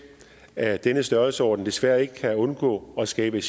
af denne størrelsesorden desværre ikke kan undgå at skabe